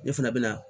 Ne fana bɛ na